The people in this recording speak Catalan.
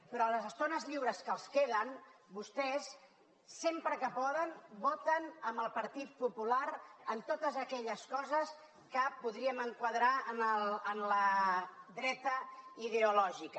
però a les estones lliures que els queden vostès sempre que poden voten amb el partit popular en totes aquelles coses que podríem enquadrar en la dreta ideològica